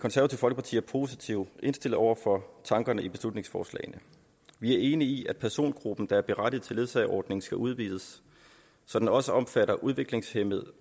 folkeparti er positivt indstillet over for tankerne i beslutningsforslagene vi er enige i at persongruppen der er berettiget til ledsageordningen skal udvides så den også omfatter udviklingshæmmede